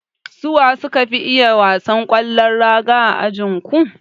Su waye suka fi iya wasan kwallon raga a ajinku?